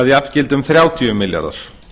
að jafngildi þrjátíu milljarðar